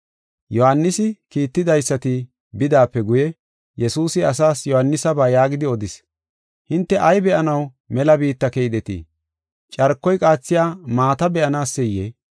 Yohaanisi kiittidaysati bidaape guye Yesuusi asaas Yohaanisaba yaagidi odis: “Hinte ay be7anaw mela biitta keydetii? Carkoy qaathiya maata be7anaseyee?